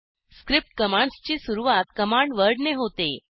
script commands ची सुरवात command word ने होते